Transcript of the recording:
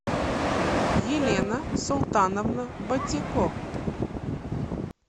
елена султановна батико